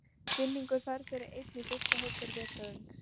Vinningur Ferð fyrir einn í fyrstu hópferð vetrarins.